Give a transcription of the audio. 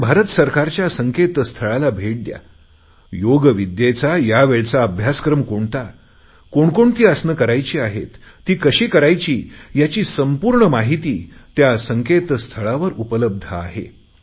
आपण भारत सरकारच्या संकेतस्थळाला भेट द्या योग विद्येचा या वेळचा अभ्यासक्रम कोणता कोणकोणती आसने करायची आहेत ती कशी करायची याची संपूर्ण माहिती त्या संकेत स्थळावर उपलब्ध आहे